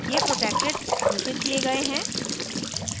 ये protected घोषित किये गए हैं